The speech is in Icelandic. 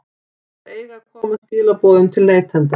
Þær eiga að koma skilaboðum til neytenda.